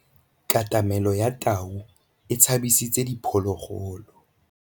Katamêlô ya tau e tshabisitse diphôlôgôlô.